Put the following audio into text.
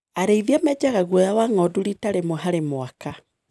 Arĩithia menjaga guoya wa ng'ondu rita rĩmwe harĩ mwaka.